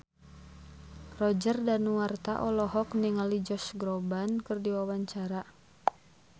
Roger Danuarta olohok ningali Josh Groban keur diwawancara